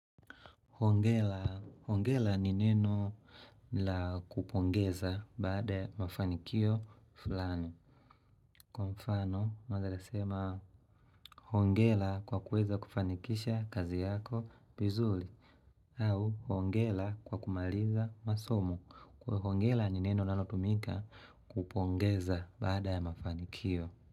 Hongela, hongela ni neno la kupongeza baada ya mafanikio fulani. Kwa mfano, unaeza kasema hongela kwa kuweza kufanikisha kazi yako vizuli. Au, hongela kwa kumaliza masomo kwa hongela ni neno linalotumika kupongeza baada ya mafanikio.